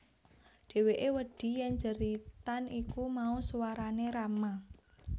Dheweke wedi yen jeritan iku mau swarane Rama